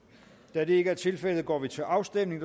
da det ikke er tilfældet går vi til afstemning